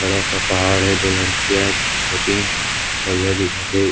बड़ा सा पहाड़ है दो लड़किया है दो तीन बढ़िया दिखत हे।